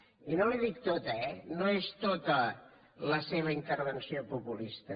i no li dic tota eh no és tota la seva in·tervenció populista